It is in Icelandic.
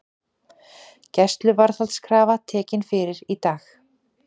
Gæsluvarðhaldskrafa tekin fyrir í dag